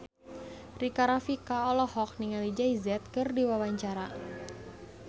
Rika Rafika olohok ningali Jay Z keur diwawancara